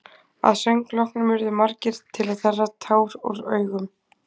Að söng loknum urðu margir til að þerra tár úr augum.